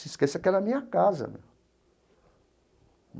Você esqueceu que é na minha casa né.